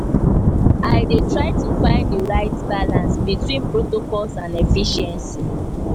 i dey try to find di right balance between protocols and efficiency.